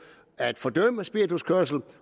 at fordømme spirituskørsel